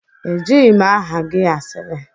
Ejighị m aha gị asịrị.